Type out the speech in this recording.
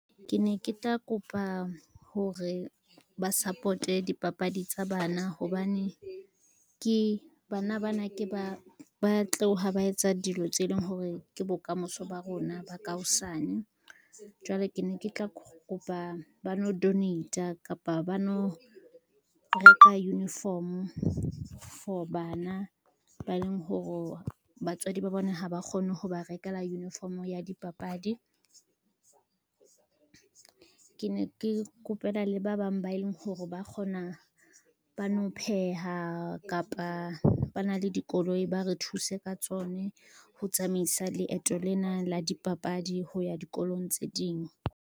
Ke ne ke tla kopa hore ba support-e dipapadi tsa bana hobane, bana bana ke ba tloha ba etsa dilo tse leng hore ke bokamoso ba rona ba ka hosane. Jwale ke ne ke tla kopa ba no donate-a kapa ba no reka uniform for bana ba e leng hore batswadi ba bona ha ba kgone ho ba rekela uniform ya dipapadi. Ke ne ke kopela le ba bang ba e leng hore ba kgona ba no pheha kapa ba na le dikoloi ba re thuse ka tsone ho tsamaisa leeto lena la dipapadi ho ya dikolong tse ding.